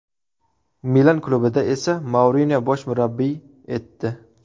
Milan klubida esa Mourinyo bosh murabbiy etdi.